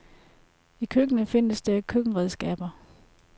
I køkkenet findes der køkkenredskaber.